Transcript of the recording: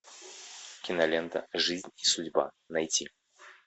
кинолента жизнь и судьба найти